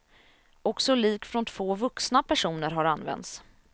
Också lik från vuxna personer har använts.